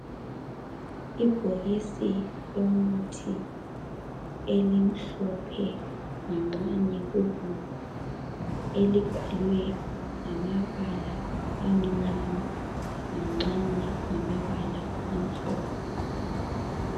Ibhokisi lomuthi elimhlophe nganxanye kubomvu elibhalwe ngamabala amnyama nganxanye ngamabala amhlophe .